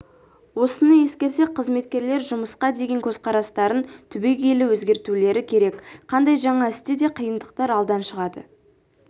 осыны ескерсек қызметкерлер жұмысқа деген көзқарастарын түбегейлі өзгертулері керек қандай жаңа істе де қиындықтар алдан шығады